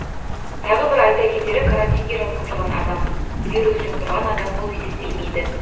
тағы бір айта кетері карантинге жатқызылған адам вирус жұқтырған адам болып есептелмейді